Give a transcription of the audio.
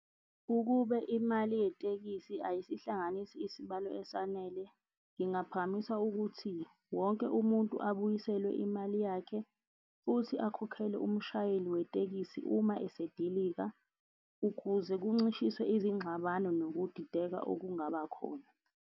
Ukube imali yetekisi ayisihlanganisi isibalo esanele, ngingaphakamisa ukuthi wonke umuntu abuyiselwe imali yakhe futhi akhokhele umshayeli wetekisi uma esedilika ukuze kuncishiswe izingxabano nokudideka okungabakhona.